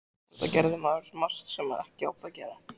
Auðvitað gerði maður margt sem ekki átti að gera.